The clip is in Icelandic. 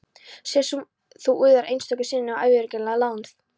Sem þú úðar einstöku sinnum af yfirgengilegri náð.